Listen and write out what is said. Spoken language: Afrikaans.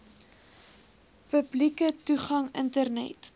publieke toegang internet